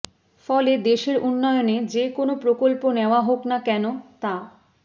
ফলে দেশের উন্নয়নে যেকোনো প্রকল্প নেওয়া হোক না কেন তা